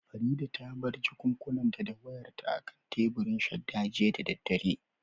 Farida ta bar jakunkunanta da wayarta akan teburin shadda jiya da daddare